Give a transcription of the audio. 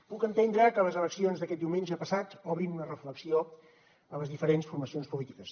puc entendre que les eleccions d’aquest diumenge passat obrin una reflexió a les diferents formacions polítiques